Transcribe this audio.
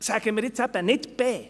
«Sagen wir jetzt eben nicht B.